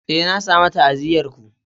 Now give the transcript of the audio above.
Eh, na samu ta'aziyyar ku.